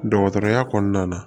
Dɔgɔtɔrɔya kɔnɔna na